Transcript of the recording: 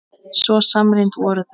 Svo samrýnd voru þau.